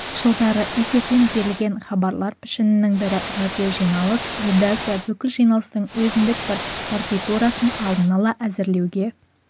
жылдары эфирден берілген хабарлар пішінінің бірі радиожиналыс редакция бүкіл жиналыстың өзіндік бір партитурасын алдын ала әзірлеуге